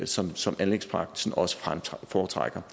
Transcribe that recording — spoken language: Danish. som som anlægsbranchen også foretrækker